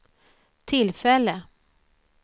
tillfälle